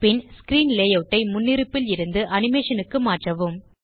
பின் screen layout ஐ முன்னிருப்பில் இருந்து அனிமேஷன் க்கு மாற்றவும்